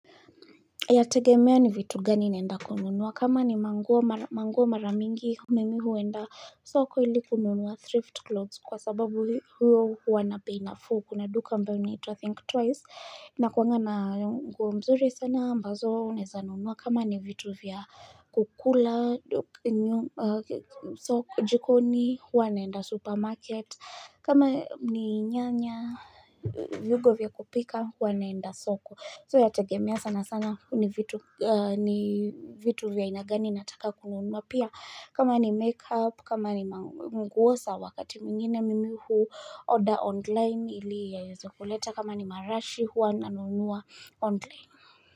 Yategemea ni vitu gani naenda kununuwa. Kama ni manguo maramingi mimi huenda soko ili kununuwa thrift clothes kwa sababu hiyo huwa na bei nafuu. Kuna duka ambayo inaitwa Think Twice inakuanga na nguo mzuri sana ambazo unaeza nunuwa kama ni vitu vya kukula jikoni huwa naenda supermarket. Kama ni nyanya, vyungo vya kupika huwa naenda soko So yategemia sana sana ni vitu gani, vitu vya aina gani nataka kununuwa, pia kama ni make up kama ni manguo za wakati mwingine mimi huu order online ili yaweze kuleta kama ni marashi hua nanunua online.